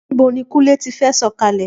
Níbo ni Kúnlé ti fẹ́ sọ̀kalẹ̀?